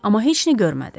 Amma heç nə görmədi.